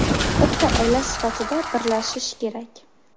Bitta oila sifatida birlashish kerak.